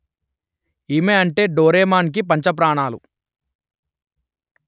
ఈమె అంటే డోరేమాన్ కి పంచప్రాణాలు